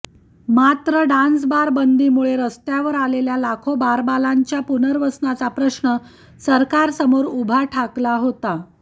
मात्र डान्सबार बंदीमुळे रस्त्यावर आलेल्या लाखो बारबालाच्या पुनर्वसनाचा प्रश्न सरकारसमोर उभा ठाकला होता